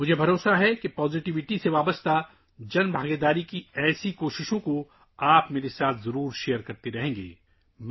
مجھے یقین ہے کہ آپ یقینی طور پر مثبتیت سے متعلق اس طرح کی عوامی شرکت کی کوششوں کا اشتراک کرتے رہیں گے